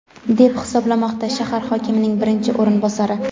deb hisoblamoqda shahar hokimining birinchi o‘rinbosari.